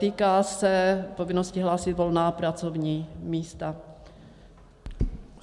Týká se povinnosti hlásit volná pracovní místa.